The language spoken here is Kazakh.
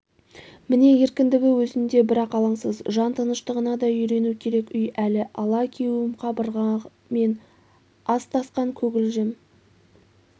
міне еркіндігі өзінде бірақ алаңсыз жан тыныштығына да үйрену керек үй әлі алакеуім қабырғамен астасқан көгілжім